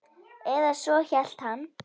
Eða svo hélt hann.